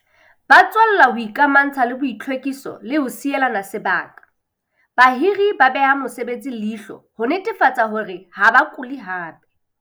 Ba tswella ho ikamantsha le boitlhwekiso le ho sielana sebaka. Bahiri ba beha mosebetsi leihlo ho netefatsa hore ha ba kule hape.